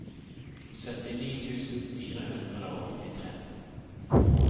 syttini tusen fire hundre og åttitre